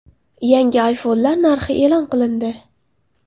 Yangi iPhone’lar narxi e’lon qilindi.